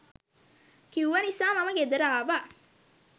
කිව්ව නිසා මම ගෙදර ආවා.